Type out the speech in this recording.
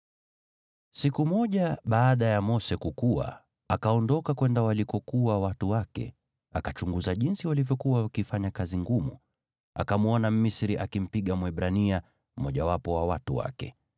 Siku moja, baada ya Mose kukua, akaondoka kwenda walikokuwa watu wake, na akachunguza jinsi walivyokuwa wakifanya kazi ngumu. Akamwona Mmisri akimpiga Mwebrania, mmojawapo wa watu wake.